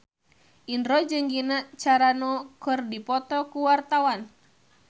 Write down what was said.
Indro jeung Gina Carano keur dipoto ku wartawan